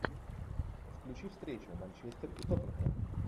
включи встречу манчестер и тоттенхэм